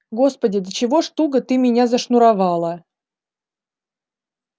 господи до чего ж туго ты меня зашнуровала